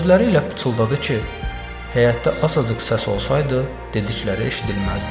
Sözləri ilə pıçıldadı ki, həyətdə azacıq səs olsaydı dedikləri eşidilməzdi.